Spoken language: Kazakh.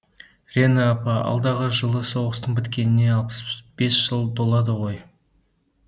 рена апа алдағы жылы соғыстың біткеніне алпыс бес жыл толады ғой